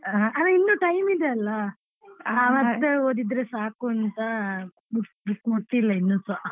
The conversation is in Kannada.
ಇನ್ನೂ time ಇದೆಯಲ್ಲ ಮತ್ತೆ ಓದಿದ್ರೆ ಸಾಕು ಅಂತ ಪುಸ್ತಕ ಮುಟ್ಟಿಲ್ಲ ಇನ್ನುಸ.